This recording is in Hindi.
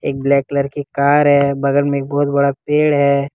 एक ब्लैक कलर की कार है बगल में एक बहुत बड़ा पेड़ है।